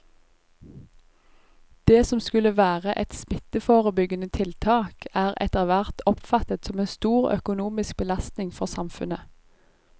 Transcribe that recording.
Det som skulle være et smitteforebyggende tiltak er etterhvert oppfattet som en stor økonomisk belastning for samfunnet.